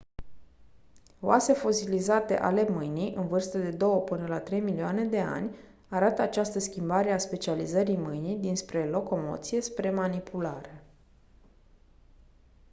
oase fosilizate ale mâinii în vârstă de două până la trei milioane de ani arată această schimbare a specializării mâinii dinspre locomoție spre manipulare